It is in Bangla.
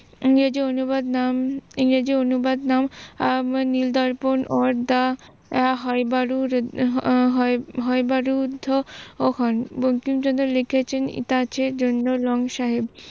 ইংরেজি অনুবাদ নাম ইংরেজি অনুবাদ নাম নীল দর্পন হন, বঙ্কিমচন্দ্র লিখেছেন কাছের জন্য লং সাহেব